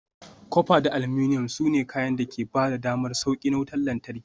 Copper da aluminum, su ne kayan da ke ba da damar sauƙi na wutar lantarki.